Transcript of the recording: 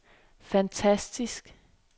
fantastisk